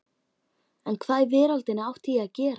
En hvað í veröldinni átti ég að gera?